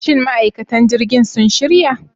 Shin ma'aikatan jirgin sun shirya?